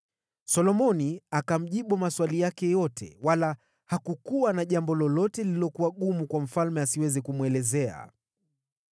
Solomoni akamjibu maswali yake yote, wala hakukuwa na jambo lolote lililokuwa gumu kwake asiweze kumwelezea.